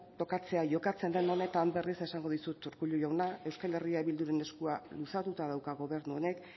tokatzea jokatzen den honetan berriz esango dizut urkullu jauna euskal herria bilduren eskua luzatuta dauka gobernu honek